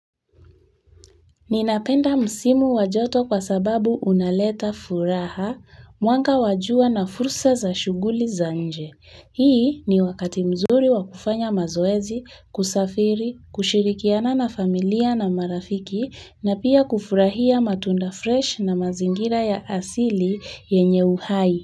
Ninapenda msimu wa joto kwa sababu unaleta furaha, mwanga wa jua na fursa za shughuli za nje. Hii ni wakati mzuri wa kufanya mazoezi, kusafiri, kushirikiana na familia na marafiki na pia kufurahia matunda fresh na mazingira ya asili yenye uhai.